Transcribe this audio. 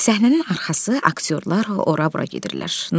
Səhnənin arxası aktyorlar ora-bura gedirlər.